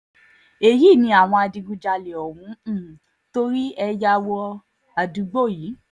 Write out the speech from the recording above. èyí ni àwọn adigunjalè ọ̀hún um torí ẹ̀ ya wọ um àdúgbò yìí